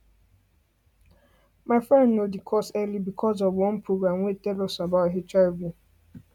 my friend know the cause early because of one program wey tell us about hiv